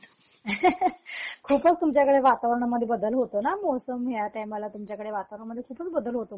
ter खूपच तुमच्याकडे वातावरणामध्ये बदल होतोना मौसम या टाईमला तुमच्याकडे वातावरणामध्ये खूपच बदल होतो मग